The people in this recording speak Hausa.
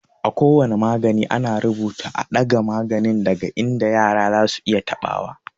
A ko wane magani, ana rubuta "a ɗaga maganin daga inda yara zasu iya taɓa wa."